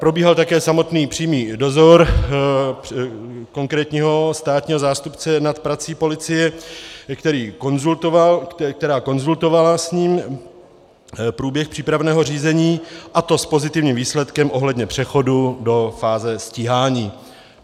Probíhal také samotný přímý dozor konkrétního státního zástupce nad prací policie, která konzultovala s ním průběh přípravného řízení, a to s pozitivním výsledkem ohledně přechodu do fáze stíhání.